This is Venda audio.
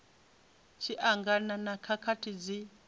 tshi angana na khakhathi dzi